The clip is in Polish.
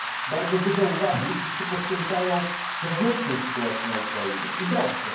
Bardzo dużo uwagi wszyscy poświęcają wewnętrznej sytuacji na Ukrainie i dobrze.